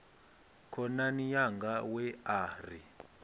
khonani yanga we a ri